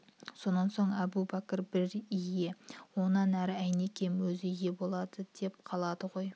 сонан соң әубәкір бір ие онан әрі әйнекем өзі ие болады да қалады ғой